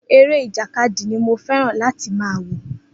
Eré ìjàkadì ni mo fé̩ràn láti máa wò